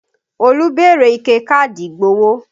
Olú béèrè ike káàdì ìgbowó